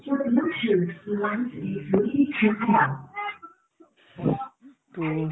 to